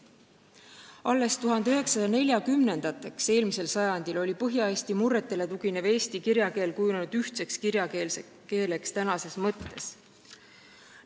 Alles eelmise sajandi 40-ndateks oli Põhja-Eesti murretele tuginev eesti kirjakeel kujunenud ühtseks kirjakeeleks tänases mõttes.